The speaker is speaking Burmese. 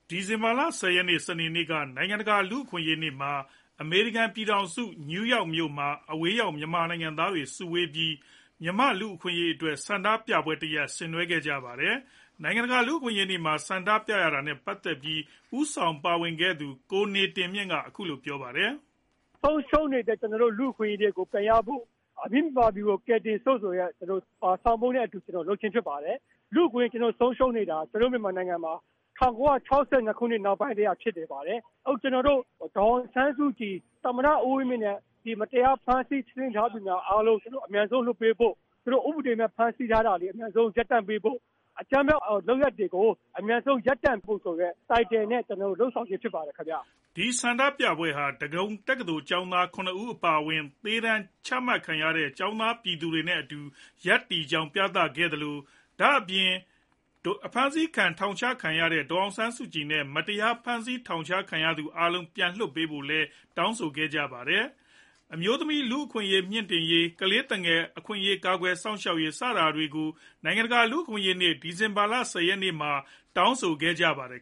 ဒီဇင်ဘာလ ၁၀ ရက် စနေနေ့က နိုင်ငံတကာ လူ့အခွင့်အရေးနေ့မှာ အမေရိကန်ပြည်ထောင်စုနယူးယောက်မြို့တော်မှာ အဝေးရောက်မြန်မာနိုင်ငံသားတွေစုရုံးပြီး မြန်မာ့လူ့အခွင့်အရေးအတွက်ဆန္ဒပြပွဲတရပ်ကိုဆင်နွှဲခဲ့ကြပါတယ်။ နိုင်ငံတကာ လူ့အခွင့်အရေးနေ့မှာ ဆန္ဒပြရတာနဲ့ ပတ်သက်ပြီး ဦးဆောင်ပါဝင်ခဲ့သူ ကိုနေတင်မြင့် က အခုလိုပြောပါတယ်။ " ဆုံးရှုံးနေတဲ့ လူ့အခွင့်အရေးတွေကို ပြန်ရဖို့ ၊ အမိမြန်မာပြည်ကို ကယ်တင်စို့ ဆိုတဲ့ ဆောင်ပုဒ်နဲ့အတူ လုပ်ခြင်းဖြစ်ပါတယ်။ လူ့အခွင့်အရေး ဆုံးရှုံးနေတာ ကျနော်တို့ မြန်မာနိုင်ငံမှာ ၁၉ ၆၂ ခုနှစ်ကတည်းက ဖြစ်ပါတယ်။ ကျနော်တို့ ဒေါ်အောင်ဆန်းစုကြည် ၊ သမ္မတ ဦးဝင်းမြင့် နဲ့ မတရားဖမ်းဆီးထားသူတွေ အားလုံးကို ချက်ချင်း ပြန်လွှတ်ပေးဖို့၊ ဥပဒေမဲ့ ဖမ်းဆီးထားတာ၊ အကြမ်းဖက် လုပ်ရပ်တွေကို အမြန်ဆုံး ရပ်စဲပေးဖို့ ခေါင်းစဉ်နဲ့ လုပ်ဆောင်ခြင်းဖြစ်ပါတယ်ခင်ဗျ " ဒီဆန္ဒပြပွဲဟာ ဒဂုံတက္ကသိုလ်ကျောင်းသာ ၇ ဦးအပါအဝင် သေဒါဏ်ကျခံထားရတဲ့ ကျောင်းသားပြည်သူတွေနဲ့အတူ ရပ်တည်ကြောင်းပြသခဲ့ကြလို့ ဒါ့အပြင် အဖမ်းဆီးထောင်ချခံထားရတဲ့ ဒေါ်အောင်ဆန်းစုကြည် အပါအဝင် မတရား ဖမ်းဆီးထောင်ချခံထားရသူ အားလုံးပြန်လွှတ်ပေးဖို့ ကိုလည်းတောင်းဆိုခဲ့ပါတယ်။ ဒါ့အပြင် အမျိုးသမီးအခွင့်အရေး မြှင့်တင်ရေး၊ ကလေးသူငယ် အခွင့်အရေး ကာကွယ်စောင့်ရှောက်ရေး စတာတွေကို နိုင်ငံတကာ လူ့အခွင့်အရေးနေ့ ဒီဇင်ဘာလ ၁၀ ရက်နေ့မှာတောင်း ဆိုခဲ့ကြပါတယ်